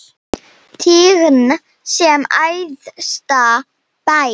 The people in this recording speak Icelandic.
Tign sem æðsta ber.